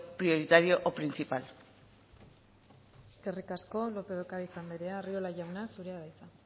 prioritario o principal eskerrik asko lópez de ocariz andrea arriola jauna zurea da hitza